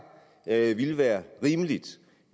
at ville være rimeligt